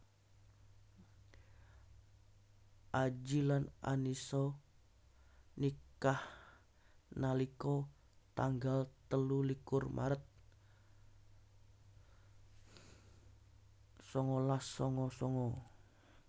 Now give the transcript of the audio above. Adji lan Annisa nikah nalika tanggal telu likur maret sangalas sanga sanga